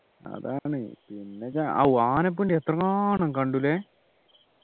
അതാണ് പിന്നെ ഓ ആഹ് ആനപ്പിണ്ടി എത്രങ്ങാനം കണ്ടു ല്ലേ